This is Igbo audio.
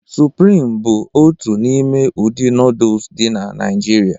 Sụprịm bụ otu n'ime ụdị nooduls dị na Naijiria